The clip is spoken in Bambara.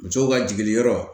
Musow ka jigiliyɔrɔ